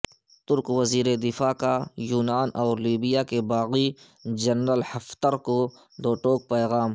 ترک وزیر دفاع کا یونان اور لیبیا کے باغی جنرل حفتر کو دو ٹوک پیغام